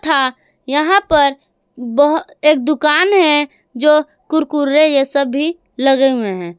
था यहां पर बहो एक दुकान है जो कुरकुरे यह सभी लगे हुए हैं।